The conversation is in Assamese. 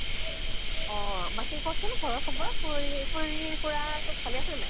অ । বাকী কʼ চোন ঘৰ ৰ খবৰ । খুৰী, খুৰী খুৰা চব ভালে আছে নে নাই ?